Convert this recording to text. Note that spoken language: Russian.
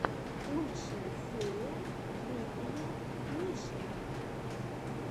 лучшая серия дмитрия мишина